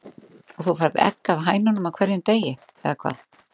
Og þú færð egg af hænunum á hverjum degi, eða hvað?